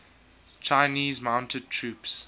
chinese mounted troops